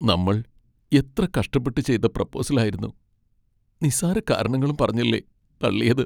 നമ്മൾ എത്ര കഷ്ടപ്പെട്ട് ചെയ്ത പ്രൊപ്പോസൽ ആയിരുന്നു, നിസ്സാര കാരണങ്ങളും പറഞ്ഞല്ലേ തള്ളിയത്.